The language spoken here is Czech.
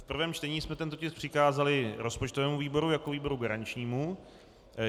V prvém čtení jsme tento tisk přikázali rozpočtovému výboru jako výboru garančnímu.